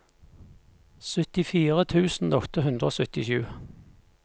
syttifire tusen åtte hundre og syttisju